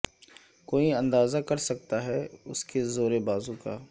کوئی اندازہ کر سکتا ہے اس کے زور بازو کا